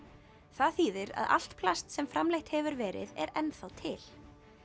það þýðir að allt plast sem framleitt hefur verið er ennþá til